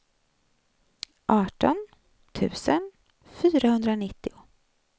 arton tusen fyrahundranittio